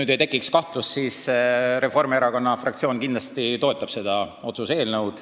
Et ei tekiks kahtlust, siis ütlen, et Reformierakonna fraktsioon kindlasti toetab seda otsuse eelnõu.